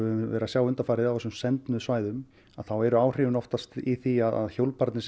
höfum verið að sjá undanfarið á þessum svæðum þá eru áhrifin oftast í því að hjólbarðarnir